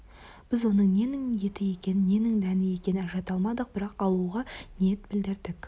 біз оның ненің еті екенін ненің дәні екенін ажырата алмадық бірақ алуға ниет білдірдік